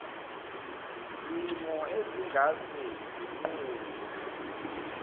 zimo ezingase zinqunywe